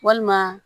Walima